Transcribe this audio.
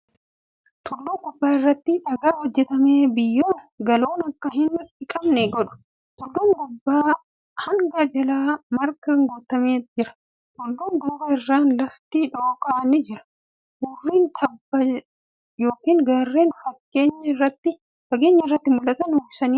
Tulluu gubbaa irratti daagaa hojjatame biyyoon galoon akka hin dhiqamne godha. Tulluun gubbaa hangi jalaa margaa guutamee jira. Tulluu duuba irratti lafti dhooqni ni jira. Hurriin tabba yookiin gaarreen fageenya irraa mul'atan uwwisee argama.